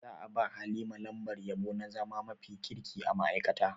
Za a ba Halima lambar yabo na zama mafi kirki a ma'aikata.